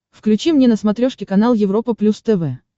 включи мне на смотрешке канал европа плюс тв